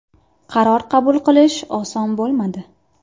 Qaror qabul qilish oson bo‘lmadi.